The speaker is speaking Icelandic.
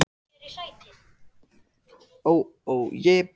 Þegar hann komst í símann hafði hún lagt á, en hún hringdi aftur.